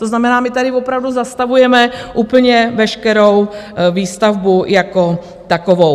To znamená, my tady opravdu zastavujeme úplně veškerou výstavbu jako takovou.